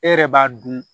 E yɛrɛ b'a dun